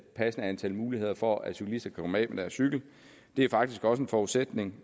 passende antal muligheder for at cyklisterne kan komme af med deres cykel det er faktisk også en forudsætning